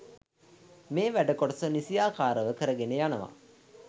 මේ වැඩ කොටස නිසියාකාරව කරගෙන යනවා